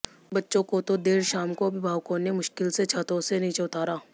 बच्चों को तो देर शाम को अभिभावकों ने मुश्किल से छतों से नीचे उतारा